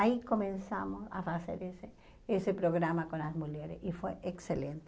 Aí começamos a fazer esse esse programa com as mulheres e foi excelente.